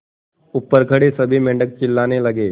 ऊपर खड़े सभी मेढक चिल्लाने लगे